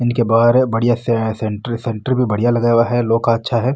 इनके बहार बढ़िया सेंटर सेंटर लगाया हुआ है लो का अच्छा है।